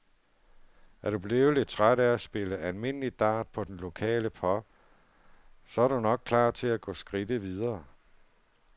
Er du blevet lidt træt af at spille almindeligt dart på den lokale pub, så er du nok klar til at gå skridtet videre?